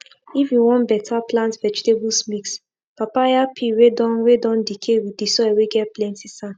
if you wan better plant vegetables mix papaya peel whey don whey don decay with the soil whey get plenty san